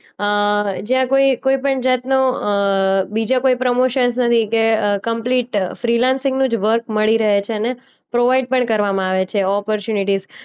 અ જ્યાં કોઈ કોઈ પણ જાતનું અ બીજા કોઈ પ્રમોશન્સ નથી કે અ કમ્પ્લીટ ફ્રીલેન્સિંગનું વર્ક મળી રહે છેને પ્રોવાઈડ પણ કરવામાં આવે છે ઓપોર્ચ્યુનિટીઝ.